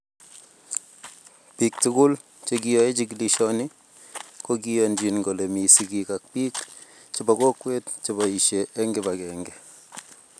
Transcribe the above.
Biik tugul chekiyoei jikilishoni kokiyonjin kole mi sigiik ak biik chebo kokwet cheboisie eng kibagenge